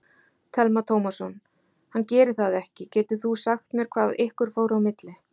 Telma Tómasson: Hann gerir það ekki, getur þú sagt mér hvað ykkur fór á milli?